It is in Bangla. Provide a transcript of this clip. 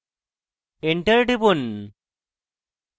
enter টিপুন